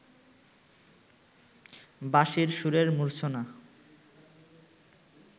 বাঁশির সুরের মূর্ছনা